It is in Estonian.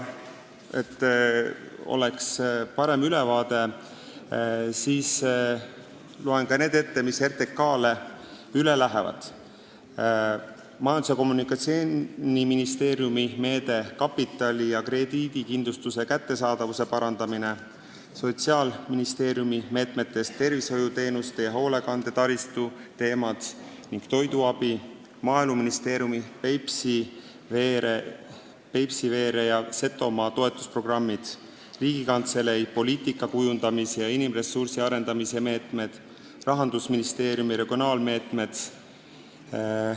Et oleks parem ülevaade, loen ette need, mis RTK-le üle lähevad: Majandus- ja Kommunikatsiooniministeeriumi meede "Kapitali ja krediidikindlustuse kättesaadavuse parandamine", Sotsiaalministeeriumi meetmetest tervishoiuteenuste, hoolekande taristu ja toiduabi teemad, Maaeluministeeriumi Peipsiveere ja Setomaa toetusprogrammid, Riigikantselei poliitika kujundamise ja inimressursi arendamise meetmed ja Rahandusministeeriumi regionaalmeetmed.